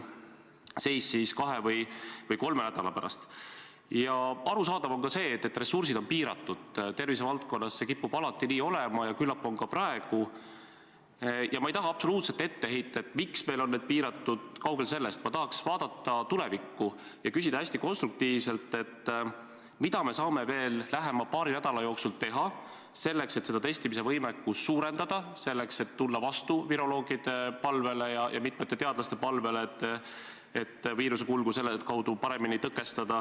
Suur tänu, härra Taavi Rõivas!